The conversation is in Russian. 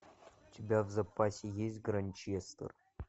у тебя в запасе есть гранчестер